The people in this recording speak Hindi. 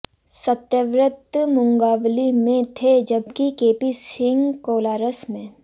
सत्यव्रत मुंगावली में थे जबकि केपी सिंह कोलारस में